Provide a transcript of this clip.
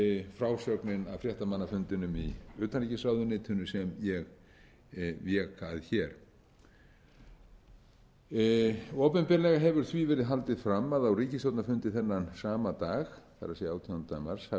frásögnin af fréttamannafundinum í utanríkisráðuneytinu sem ég vék að hér opinberlega hefur því verið haldið fram að á ríkisstjórnarfundi þennan sama dag það er átjándi mars hafi